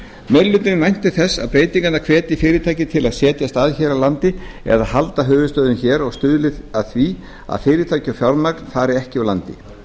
meiri hlutinn væntir þess að breytingarnar hvetji fyrirtæki til að setjast að hér á landi eða halda höfuðstöðvum hér og stuðli að því að fyrirtæki og fjármagn fari ekki úr landi